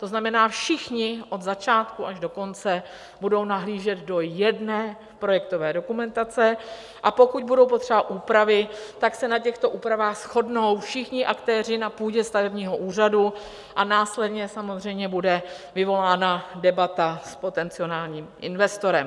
To znamená, všichni od začátku až do konce budou nahlížet do jedné projektové dokumentace, a pokud budou potřeba úpravy, tak se na těchto úpravách shodnou všichni aktéři na půdě stavebního úřadu a následně samozřejmě bude vyvolána debata s potenciálním investorem.